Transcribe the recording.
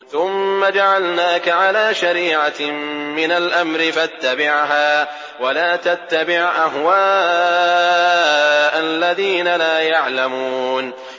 ثُمَّ جَعَلْنَاكَ عَلَىٰ شَرِيعَةٍ مِّنَ الْأَمْرِ فَاتَّبِعْهَا وَلَا تَتَّبِعْ أَهْوَاءَ الَّذِينَ لَا يَعْلَمُونَ